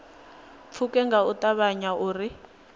pfuke nga u ṱavhanya uri